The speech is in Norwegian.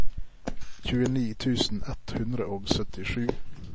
tjueni tusen ett hundre og syttisju